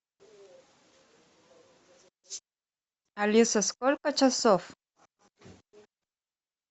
алиса сколько часов